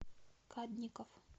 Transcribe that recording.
кадников